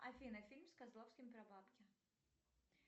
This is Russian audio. афина фильм с козловским про бабки